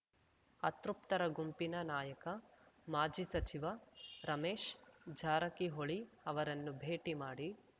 ಅತೃಪ್ತರ ಗುಂಪಿನ ನಾಯಕ ಮಾಜಿ ಸಚಿವ ರಮೇಶ್ ಜಾರಕಿಹೊಳಿ ಅವರನ್ನು ಭೇಟಿ ಮಾಡಿ